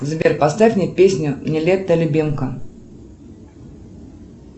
сбер поставь мне песню нилетто любимка